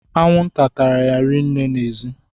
Anwụnta tara ya rinne n'ezi